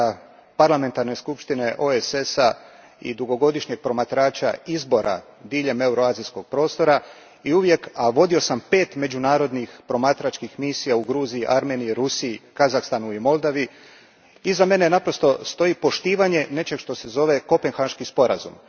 Iza mene stoji iskustvo potpredsjednika parlamentarne skupštine OESS a i dugogodišnjeg promatrača izbora diljem euroazijskog prostora i uvijek, a vodio sam pet međunarodnih promatračkih misija u Gruziji, Armeniji, Rusiji, Kazahstanu i Moldovi, iza mene naprosto stoji poštivanje nečeg što se zove Kopenhaški sporazum.